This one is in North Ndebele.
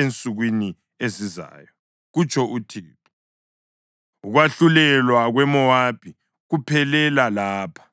ensukwini ezizayo,” kutsho uThixo. Ukwahlulelwa kweMowabi kuphelela lapha.